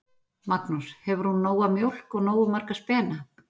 Magnús: Hefur hún nóga mjólk og nógu marga spena?